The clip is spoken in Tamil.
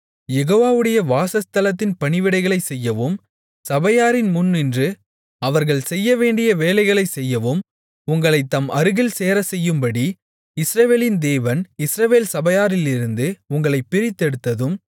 யெகோவாவுடைய வாசஸ்தலத்தின் பணிவிடைகளைச் செய்யவும் சபையாரின் முன்நின்று அவர்கள் செய்யவேண்டிய வேலைகளைச் செய்யவும் உங்களைத் தம் அருகில் சேரச்செய்யும்படி இஸ்ரவேலின் தேவன் இஸ்ரவேல் சபையாரிலிருந்து உங்களைப் பிரித்தெடுத்ததும்